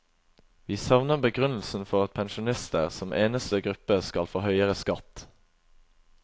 Vi savner begrunnelsen for at pensjonister, som eneste gruppe, skal få høyere skatt.